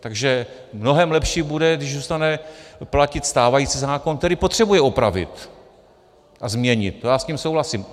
Takže mnohem lepší bude, když zůstane platit stávající zákon, který potřebuje opravit a změnit, to já s tím souhlasím.